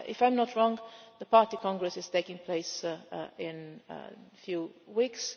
If I am not wrong, the party congress is taking place in a few weeks.